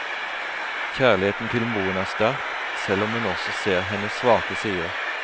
Kjærligheten til moren er sterk, selv om hun også ser hennes svake sider.